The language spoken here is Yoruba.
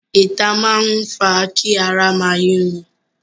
Ìta máa ń fa kí ara máa yúnni.